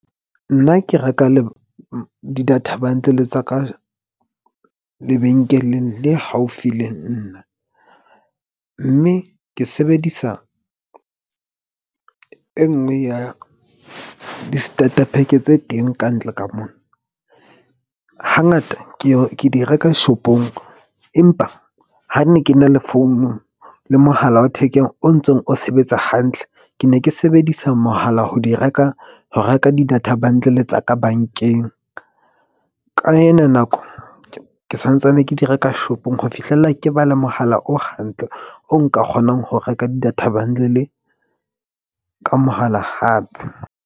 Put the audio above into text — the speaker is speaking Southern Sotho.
Nna ke reka di-data bundle tsa ka lebenkeleng le haufi le nna. Mme ke sebedisa e nngwe ya di-starter pack tse teng kantle ka mona. Hangata ke ye ke di reka shop-ong, empa ha ne ke na le founung le mohala wa thekeng o ntsong o sebetsa hantle. Ke ne ke sebedisa mohala ho di reka ho reka di-data bundle tsa ka bank-eng. Ka ena nako ke santsane ke di reka shop-ong ho fihlella ke ba le mohala o hantle o nka kgonang ho reka di-data bundle ka mohala hape.